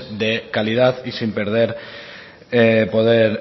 de calidad y sin perder poder